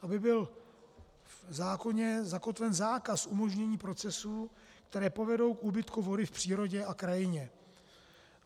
Aby byl v zákoně zakotven zákaz umožnění procesů, které povedou k úbytku vody v přírodě a krajině.